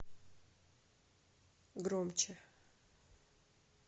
громче